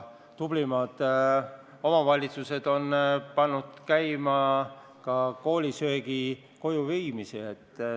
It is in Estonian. Tublimad omavalitsused on pannud käima ka koolisöögi koju viimise teenuse.